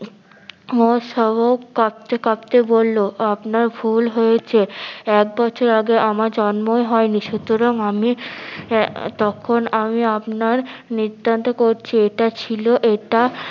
সাবক কাঁপতে কাঁপতে বললো আপনার ভুল হয়েছে, এক বছর আগে আমার জন্মই হয় নি সুতরাং আমি আহ তখন আমি আপনার নিত্তান্ত কচি এটা ছিল এটা